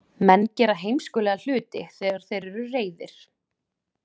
Menn gera heimskulega hluti þegar þeir eru reiðir.